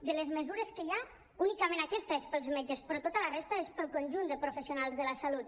de les mesures que hi ha únicament aquesta és per als metges però tota la resta és per al conjunt de professionals de la salut